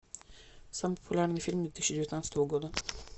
самый популярный фильм две тысячи девятнадцатого года